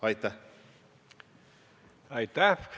Aitäh!